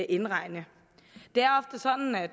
indregne